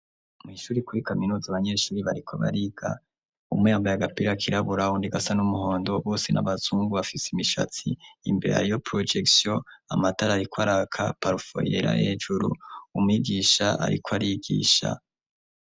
Mw'ishure kuri kaminuzi abanyeshure bariko bariga. umwe yambay'agapira kirabura undi gasa n'umuhondo bose n'abazungu bafise imishatsi, imbere hariyo porojekisyo, amatara ariko araka, parafo yera hejuru, umwigisha ariko arigisha.